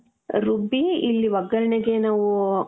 ರುಬ್ಬಿ ಇಲ್ಲಿ ಒಗ್ಗರಣೆಗೆ ನಾವು .